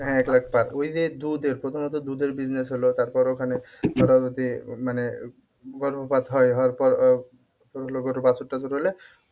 হ্যাঁ এক লাখ per ওই যে দুধের প্রথমত দুধের business হলো তারপর ওখানে মানে তোর হলো গরুর বাছুর টাছুর হলে